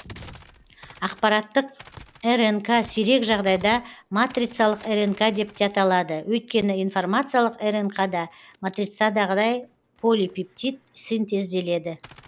ақпараттық рнк сирек жағдайда матрицалық рнк деп те аталады өйткені информациялық рнқ да матрицадағыдай полипептид синтезделеді